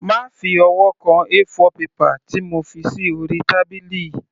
Má fi ọwọ́ kan A4 paper tí mo fi sí orí tábìlì.